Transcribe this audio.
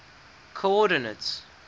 coordinates